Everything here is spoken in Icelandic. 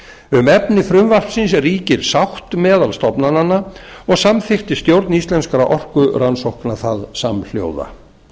um efni frumvarpsins ríkir sátt meðal stofnananna og samþykkti stjórn íslenskra orkurannsókna það samhljóða